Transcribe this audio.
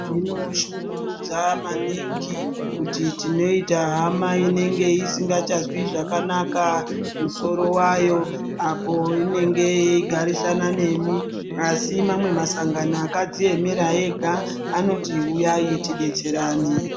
Zvinoshungurudza maningi kuti tinoita hama inenge isingachazwi zvakanaka musoro wayo apo inenge yeigarisana nemi asi mamwe masangano akadziemera ega anoti uyayi tidetserane.